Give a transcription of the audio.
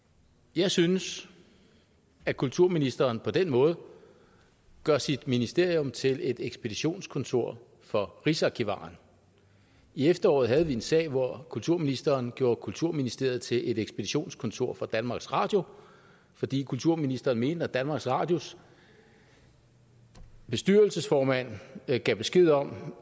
jeg synes at kulturministeren på den måde gør sit ministerium til et ekspeditionskontor for rigsarkivaren i efteråret havde vi en sag hvor kulturministeren gjorde kulturministeriet til et ekspeditionskontor for danmarks radio fordi kulturministeren mente at når danmarks radios bestyrelsesformand gav besked om